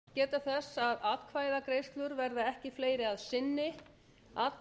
forseti vill geta þess að atkvæðagreiðslur verða ekki fleiri að